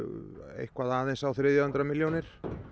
eitthvað aðeins á þriðja hundrað milljónir